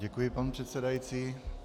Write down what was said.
Děkuji, pane přesedající.